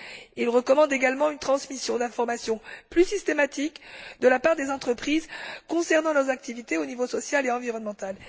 Il recommande également une transmission d'informations plus systématique de la part des entreprises concernant leurs activités au niveau social et environnemental.